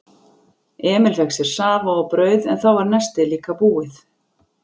Emil fékk sér safa og brauð en þá var nestið líka búið.